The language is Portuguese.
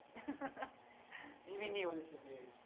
de vinil E como é que foi esse ambiente?